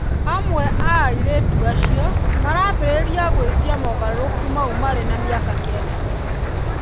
Amwe a airĩtu acio maraambĩrĩria gũĩtia mogarũrũku mau marĩ na mĩaka kenda tu.